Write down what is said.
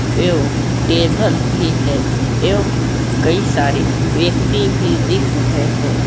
एवं टेबल भी है एवं कई सारे व्यक्ति भी दिख रहे हैं।